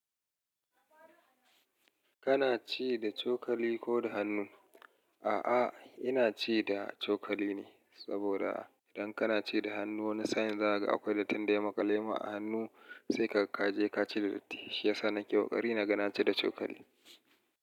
Kana ci da cokali ko da hannu? A'a, ina ci da cokali ne saboda idan kana ci da hannu wani sa'in za ka ga akwai dattin da ya maƙale ma a hannu, sai ka je ka ci datti. Shi ya sa nake ƙoƙari na ga na ci da cokali.